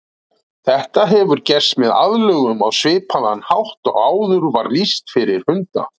Þetta hefur gerst með aðlögun á svipaðan hátt og áður var lýst fyrir hunda.